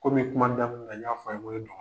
Komi kuma daminɛ na n y'a fɔ a' ye ŋo ye dɔgɔ